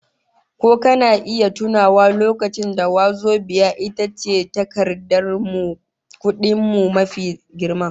Ko kana iya tunawa lokacin da wazobiya ita ce takardar kudin mu mafi girma?